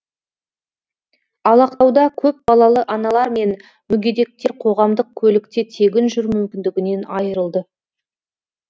ал ақтауда көпбалалы аналар мен мүгедектер қоғамдық көлікте тегін жүру мүмкіндігінен айырылды